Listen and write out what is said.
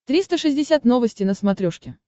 триста шестьдесят новости на смотрешке